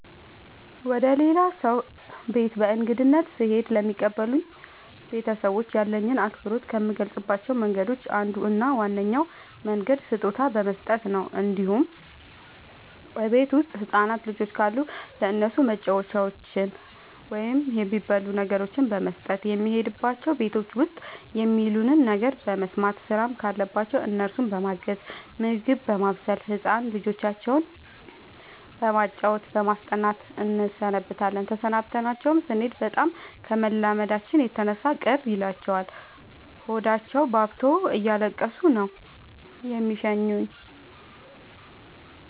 ወደ ሌላ ሰው ቤት በእንግድነት ስሄድ ለሚቀበሉኝ ቤተሰቦች ያለኝን አክብሮት ከምገልፅባቸው መንገዶች አንዱ እና ዋነኛው መንገድ ስጦታ በመስጠት ነው እንዲሁም እቤት ውስጥ ህፃናት ልጆች ካሉ ለእነሱ መጫወቻዎችን ወይም የሚበሉ ነገሮችን በመስጠት። የሄድንባቸው ቤቶች ውስጥ የሚሉንን ነገር በመስማት ስራም ካለባቸው እነሱን በማገዝ ምግብ በማብሰል ህፃን ልጆቻቸው በማጫወት በማስጠናት እንሰነብታለን ተሰናብተናቸው ስኔድ በጣም ከመላመዳችን የተነሳ ቅር ይላቸዋል ሆዳቸውባብቶ እያለቀሱ ነው የሚሸኙን።